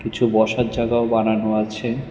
কিছু বসার জায়গাও বানানো আছে।